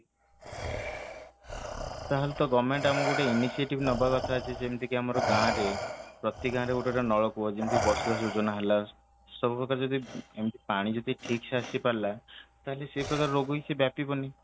ତାହାଲେ ତ government ଆମକୁ ଗୋଟେ initiative ନବାକଥା ଯିଏ ଯେମିତିକ ଆମର ଗାଁ ରେ ପ୍ରତି ଗାଁ ରେ ଗୋଟେ ଗୋଟେ ନଳକୂପ ଯେମିତି ବସୁଧା ଯୋଜନା ହେଲା ସବୁ ପ୍ରକାର ଯଦି ଏମିତି ପାଣି ଯଦି ଠିକ ସେ ଆସିପାରିଲା ତାହାଲେ ସେ ପ୍ରକାର ରୋଗବି ସେ ବ୍ୟାପିବନି